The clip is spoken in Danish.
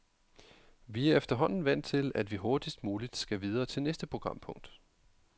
Vi er efterhånden vant til, at vi hurtigst muligt skal videre til næste programpunkt.